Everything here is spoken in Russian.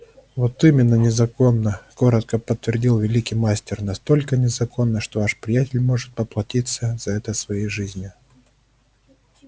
вот именно незаконна коротко подтвердил великий мастер настолько незаконна что ваш приятель может поплатиться за это своей жизнью